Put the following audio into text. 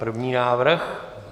První návrh.